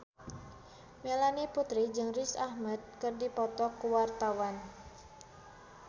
Melanie Putri jeung Riz Ahmed keur dipoto ku wartawan